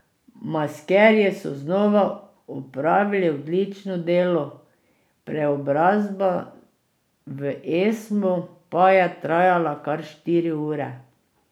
Maskerji so znova opravili odlično delo, preobrazba v Esmo pa je trajala kar štiri ure.